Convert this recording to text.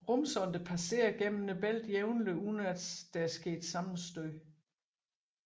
Rumsonder passerer gennem bæltet jævnligt uden at sammenstød er sket